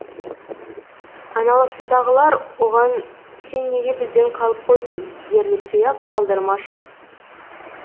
айналасындағылар оған сен неге бізден қалып қойдың дерліктей ақ талдырмаш қыз